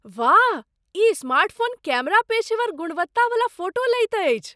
वाह! ई smartphone camera पेशेवर गुणवत्ता बला फोटो लैत अछि।